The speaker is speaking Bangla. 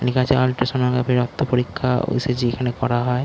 লেখা আছে আলট্রাসনোগ্রাফি রক্ত পরীক্ষা ও.সি.জি. এখানে করা হয়।